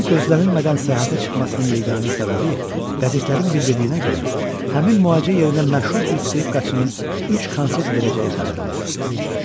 Onun gözlənilmədən səyahətə çıxmasının yeganə səbəbi qəzetlərin bildirdiyinə görə, həmin müalicə yerində məşhur bir skripkaçının üç konsert verəcəyi xəbəri olur.